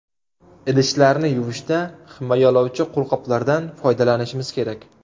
Idishlarni yuvishda himoyalovchi qo‘lqoplardan foydalanishimiz kerak.